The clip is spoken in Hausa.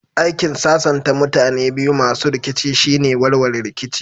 Aikin sasanta mutane biyu masu rikici shine warware rikici